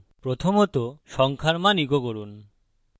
প্রথমত সংখ্যার মান echo করুন